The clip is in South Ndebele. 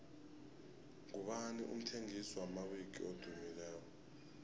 ngubani umthengisi wamawiki edumileko